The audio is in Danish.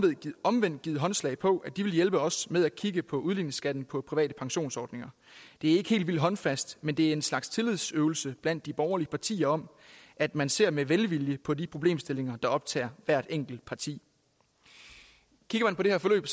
omvendt givet håndslag på at de vil hjælpe os med at kigge på udligningsskatten på private pensionsordninger det er ikke helt vildt håndfast men det er en slags tillidsøvelse blandt de borgerlige partier om at man ser med velvilje på de problemstillinger der optager hvert enkelt parti kigger man på det her forløb